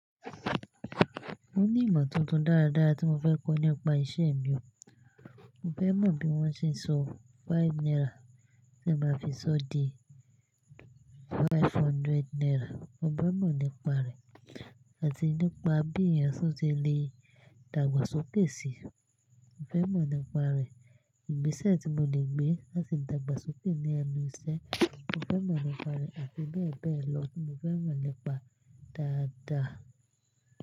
Mo ní ìmọ̀ tuntun dáradára tí mo fẹ́ kọ́ nípa iṣẹ́ mi o. Mo fẹ́ mọ̀ bí wọ́n ṣe ń so five naira ṣe máa fi sọ́ di five hundred naira. Mo fẹ́ mọ̀ nípa rẹ̀, àti nípa bí èèyàn ṣe lè dàgbàsókè si. Mo fẹ́ mọ̀ nípa rẹ̀. Ìgbésẹ̀ tí mo le gbé láti dàgbàsókè ní ẹnu iṣẹ́, mo fẹ́ mọ̀ nípa rẹ̀, àti bẹ́ẹ̀ bẹ́ẹ̀ lọ tí mo fẹ́ mọ̀ nípa dáadáa.